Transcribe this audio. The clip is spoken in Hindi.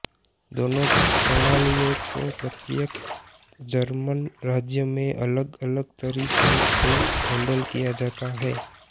दोनों प्रणालियों को प्रत्येक जर्मन राज्य में अलग अलग तरीके से हेन्डल किया जाता है